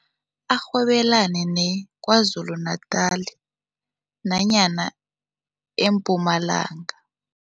Arhwebelane neKwaZulu Natal nanyana eMpumalanga.